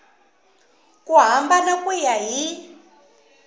ku hambana ku ya hi